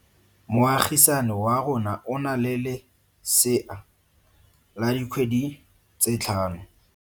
Moagisane wa rona o na le lesea la dikgwedi tse tlhano.